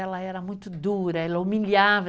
Ela era muito dura, ela humilhava.